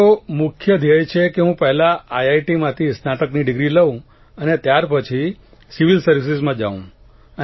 મારો મુખ્ય ધ્યેય છે કે હું પહેલા આઇઆઇટીમાંથી સ્નાતકની ડીગ્રી લઉં અને ત્યારપછી સિવિલ સર્વિસીસમાં જાઉં